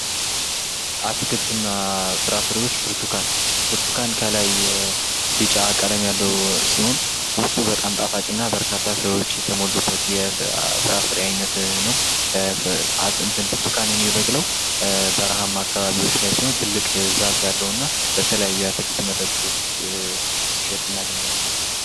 አትክልት እና ፍራ ፍሬዎች ብርተኳን ብርቱኳን ከላይ ቢጫ ቀለም ያለው ሲሆን ፍሬው ውስጡ በጣም ጣፋጭ እና በርካታ ፍሬዎች የተሞሉበት የፍራፍሬ አይነት ነው። ብርቱኳን የሚበቅለው በረሀማ አካባቢዎች ላይ ሲሆን ትልቅ ዛፍ እና በተለያየ አትክልት መደበር ውስጥ ሲሸጥ እናገኘዋለን።